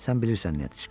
Sən bilirsən nə, Netiçka?